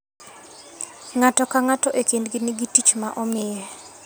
Ng'ato ka ng'ato e kindgi nigi tich ma omiye.